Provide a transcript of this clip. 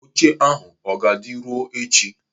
Oche ahụ ọ ga-adị ruo echi?